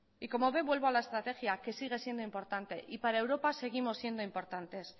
y como ve vuelvo a la estrategia que sigue siendo importante y para europa seguimos siendo importantes